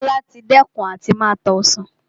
Tola ti dẹ́kun àti máa ta Ọsàn